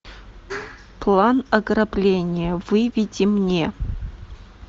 план ограбления выведи мне